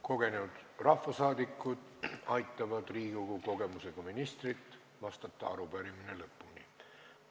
Kogenud rahvasaadikud aitavad Riigikogu kogemusega ministril arupärimisele lõpuni vastata.